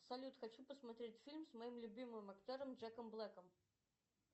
салют хочу посмотреть фильм с моим любимым актером джеком блэком